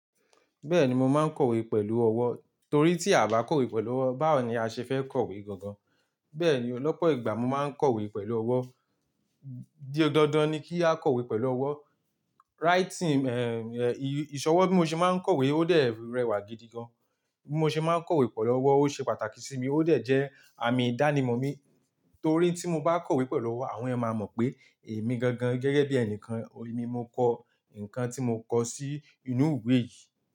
Bẹ́ẹ̀ni mo máa ń kọ̀wé pẹ̀lú ọwọ́, torí tí a bá kọ̀wé pẹ̀lú ọwọ́, báwo ni a ṣe fẹ́ kọ̀wé gangan? Bẹ́ẹ̀ ni, lọ́pọ̀ ìgbà mo máa ń kọ̀wé pẹ̀lú ọwọ́. Dí ọdọọdán ni kí a kọ̀wé pẹ̀lú ọwọ́. Writing, eh, eh, ìṣọwọ́ bí mo ṣe máa ń kọ̀wé ó dẹ̀ rẹwà gidi gan. Bí mo ṣe máa ń kọ̀wé pẹ̀lú ọwọ́ ó ṣe pàtàkì sí mi, ó dẹ̀ jẹ́ àmì ìdánimọ̀ mi, torí tí mo bá kọ̀wé pẹ̀lú ọwọ́ àwọn ẹyan máa mọ̀ pé èmi gan gan gẹ́gẹ́ bí ẹnikan, èmi mo kọ nǹkan tí mo kọ sí inú ìwé yìí.